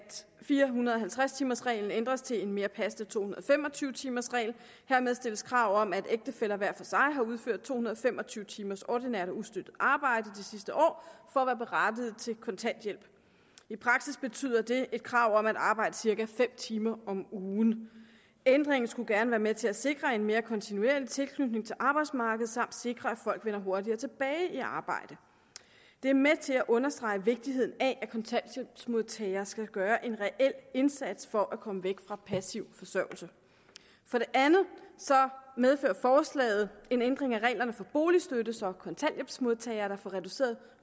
fire hundrede og halvtreds timers reglen ændres til en mere passende to hundrede og fem og tyve timers regel hermed stilles krav om at ægtefæller hver for sig har udført to hundrede og fem og tyve timers ordinært og ustøttet arbejde det sidste år for at være berettiget til kontanthjælp i praksis betyder det et krav om at arbejde cirka fem timer om ugen ændringen skulle gerne være med til at sikre en mere kontinuerlig tilknytning til arbejdsmarkedet samt sikre at folk vender hurtigere tilbage i arbejde det er med til at understrege vigtigheden af at kontanthjælpsmodtagere skal gøre en reel indsats for at komme væk fra passiv forsørgelse for det andet medfører forslaget en ændring af reglerne for boligstøtte så kontanthjælpsmodtagere der får reduceret